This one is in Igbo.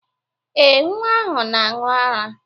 Ee, nwa ahụ na-aṅụ ara.